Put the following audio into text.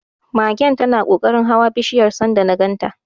Magen tana kokarin hawa bishiyar sanda na ganta.